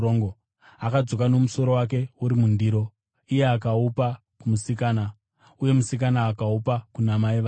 akadzoka nomusoro wake uri mundiro. Akaupa kumusikana, uye musikana akaupa kuna mai vake.